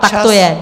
Tak to je.